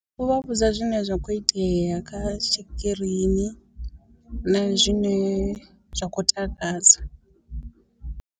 U vha vhudza zwine zwa kho itea kha tshikirini na zwine zwa khou takadza.